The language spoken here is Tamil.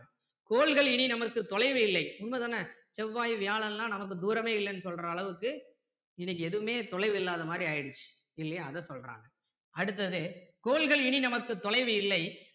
கோள்கள் இனி நமக்கு தொலைவு இல்லை உண்மை தானே செவ்வாய் வியாழன் எல்லாம் நமக்கு தூரமே இல்லன்னு சொல்ற அளவுக்கு இது எதுவுமே தொலைவு இல்லாத மாதிரி ஆகிடுச்சு இல்லையா அதை சொல்றாங்க அடுத்தது கோள்கள் இனி நமக்கு தொலைவு இல்லை